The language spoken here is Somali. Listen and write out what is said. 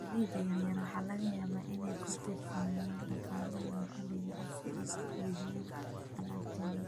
Beeralayda yaryar waxa laga yaabaa inay ku tiirsanaadaan dhaqaalaha maxaliga ah si ay u iibiyaan alaabtooda.